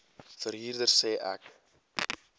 verhuurder sê ek